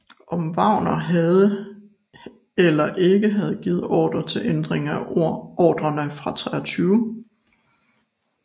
Om Wagner havde eller ikke havde givet ordre til ændring af ordrerne fra 23